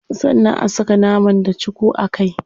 Sannan a saka nama da cuku a kai.